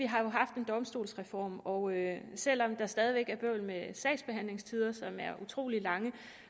har haft en domstolsreform og selv om der stadig væk er bøvl med sagsbehandlingstiderne som er utrolig lange